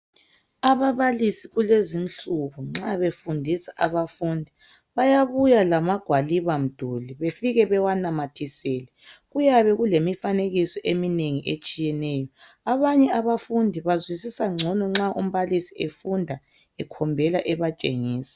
Ababalisi kulezinsuku nxa befundisa abafundi bayabuya lamagwaliba mduli befike bewanamathisele kuyabe kulemifanekiso eminengi etshiyeneyo abanye abafundi bazwisisa ngcono nxa umbalisi efunda ekhombela ebatshengisa.